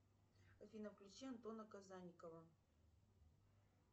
афина включи антона казанникова